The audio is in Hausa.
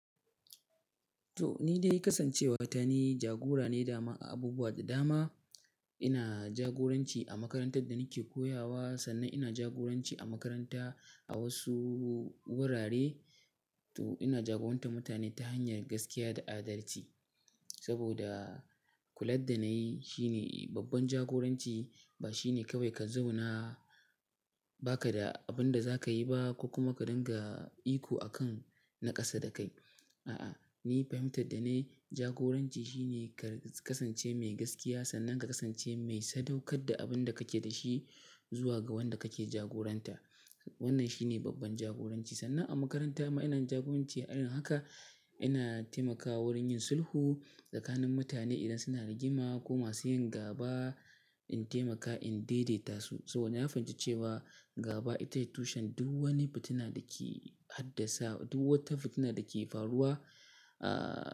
To, ni dai kasan cewa ta ni jagora ne daman a abubuwa da dama. Ina jagoranci a makarantar da nake koyawa, sannan ina jagoranci a makaranta, a wasu wurare. To, ina jagorantar mutane ta hanyar gaskiya da adalci. Saboda kular da na yi shine babban jagoranci ba shine kawai ka zauna ba ka da abin da za ka yi ba, ko kuma ka dinga iko a kan na ƙasa da kai. A, ni fahimtar da na yi, jagoranci shine ka kasance mai gaskiya, sannan ka kasance mai sadaukar da abin da kake da shi zuwa ga wanda kake jagoranta. Wannan shine babban jagoranci. Sannan, a makaranta ma ina jagoranci, irin haka ina taimakawa wurin yin sulhu, tsakanin mutane idan suna rigima ko masu yin gaba, in taimaka in dai-daita su. Saboda na fahimci cewa, Gaba ita tushen duk wani fitina da ke haddasa duk wata fitina da ke faruwa, ah--